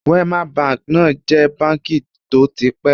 Wema Bank náà jẹ̀ báǹkì tó ti pẹ́